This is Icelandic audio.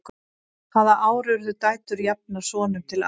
hvaða ár urðu dætur jafnar sonum til arfs